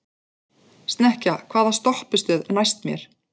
Snekkja, hvaða stoppistöð er næst mér?